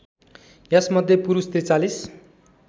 यसमध्ये पुरुष ४३